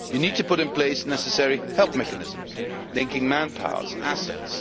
You need to put in place necessary help mechanisms, linking manpower and assets.